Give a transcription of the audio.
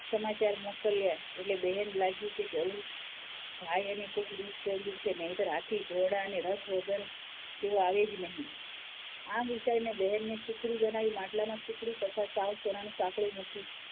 સમાચાર મોકલ્યા એટલે બહેનને લાગ્યું કે જરૂર ભાઈને કોઈ દુખ પડ્યું હશે નહીંતર હાથી ઘોડા અને રથ વગર તેઓ આવે જ નહીં. આમ, વિચારીને બહેનને સુખડી બનાવી માટલામાં સુખડી તથાં સાવ સોનાનું સાકડું મૂકી,